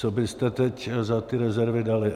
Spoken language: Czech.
Co byste teď za ty rezervy dali.